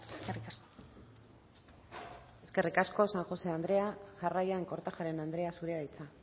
eskerrik asko eskerrik asko san josé andrea jarraian kortajarena andrea zurea da hitza